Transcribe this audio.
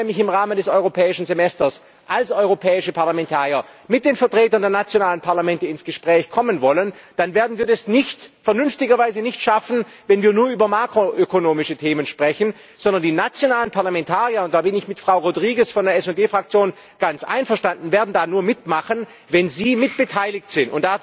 Denn wenn wir im Rahmen des Europäischen Semesters als europäische Parlamentarier mit den Vertretern der nationalen Parlamente ins Gespräch kommen wollen, dann werden wir das vernünftiger Weise nicht schaffen, wenn wir nur über makroökonomische Themen sprechen, sondern die nationalen Parlamentarier da bin ich mit Frau Rodrigues von der SD Fraktion ganz einverstanden werden da nur mitmachen, wenn sie mitbeteiligt sind.